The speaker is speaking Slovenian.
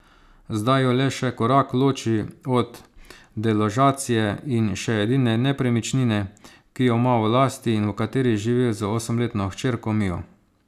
Zdaj jo le še korak loči od deložacije iz še edine nepremičnine, ki jo ima v lasti in v kateri živi z osemletno hčerko Mijo.